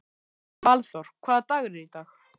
Valþór, hvaða dagur er í dag?